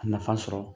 A nafa sɔrɔ